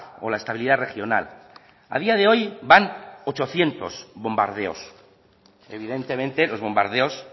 o la estabilidad regional a día de hoy van ochocientos bombardeos evidentemente los bombardeos